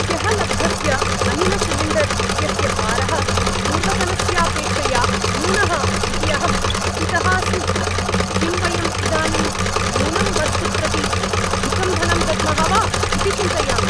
ह्यः लब्धस्य अनिलसिलिण्डर् इत्यस्य भारः पूर्वतनस्यापेक्षया न्यूनः इति अहं कुपितः अस्मि। किं वयं इदानीं न्यूनं वस्तु प्रति अधिकं धनं दद्मः वा इति चिन्तयामि।